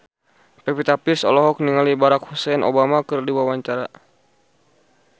Pevita Pearce olohok ningali Barack Hussein Obama keur diwawancara